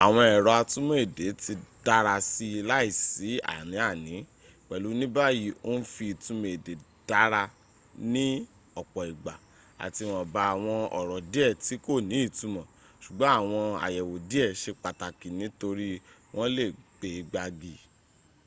àwọn èrọ atúmò èdè ti dárasi láìsí ánì-àní pèlú níbàyí o ń fi ìtumọ̀ èdè dárá ní ọ̀pọ̀ ìgbà àti ìwòmba àwọn ọ̀rọ̀ díẹ̀ tí kò ní ìtumọ̀ sùgbọ́n àwọn àyẹ̀wò díẹ̀ se pàtakì nítorí wọ́n lè gbe gbági